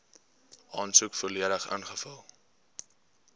aansoek volledig ingevul